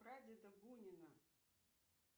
прадеда бунина